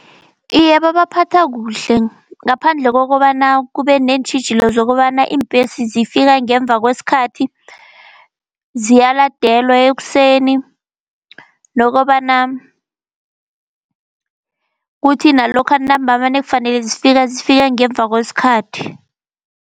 Iye babaphatha kuhle, ngaphandle kokobana kube neentjhijilo zokobana iimbhesi zifika ngemva kweskhathi. Ziyaladelwa ekuseni nokobana kuthi nalokha ntambama nakufanele zifike, zifike ngemva kwesikhathi.